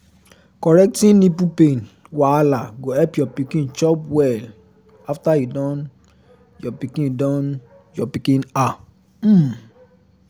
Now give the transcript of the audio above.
correcting nipple pain wahala go help your pikin chop well after you don your pikin don your pikin ah um